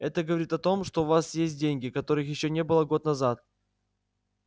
это говорит о том что у вас есть деньги которых ещё не было год назад